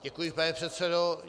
Děkuji, pane předsedo.